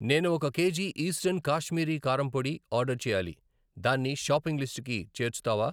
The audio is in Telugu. నేను ఒక కేజీ ఈస్టర్న్ కాశ్మీరీ కారం పొడి, ఆర్డర్ చేయాలి, దాన్ని షాపింగ్ లిస్టుకి చేర్చుతావా?